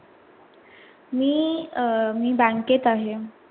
मी अं मी bank केत आहे.